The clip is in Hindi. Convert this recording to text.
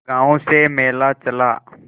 गांव से मेला चला